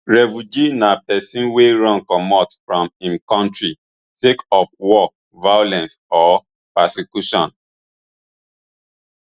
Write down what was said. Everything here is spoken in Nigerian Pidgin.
refugee na pesin wey run comot from im kontri sake of war violence or persecution